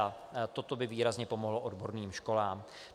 A toto by výrazně pomohlo odborným školám.